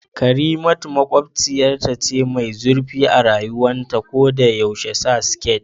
Karimatu makwabciyarta ce mai zurfi a rayuwa ta ko da yaushe sa skit